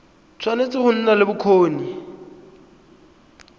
tshwanetse go nna le bokgoni